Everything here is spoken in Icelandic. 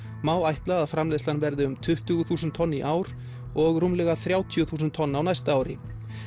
má ætla að framleiðslan verði um tuttugu þúsund tonn í ár og rúmlega þrjátíu þúsund tonn á næsta ári